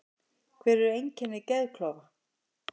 Hver eru einkenni geðklofa?